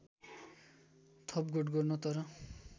थपघट गर्न तर